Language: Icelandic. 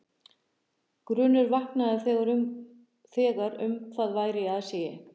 Grunur vaknaði þegar um hvað væri í aðsigi.